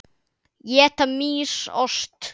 Éta mýs ost?